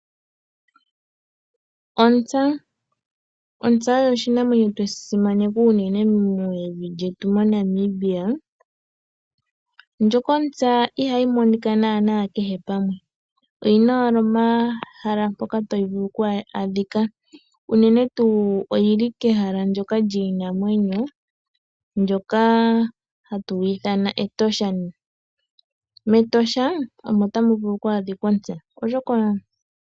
Ontsa Ontsa oyo oshikwamawawa shoka tweshi simaneka mevi lyetu Namibia na ihayi monika kehe pamwe. Oyi na ehala mpoka hayi vulu oku adhika ngaashi mEtosha.